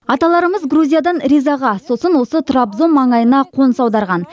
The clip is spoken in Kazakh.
аталарымыз грузиядан ризаға сосын осы трабзон маңайына қоныс аударған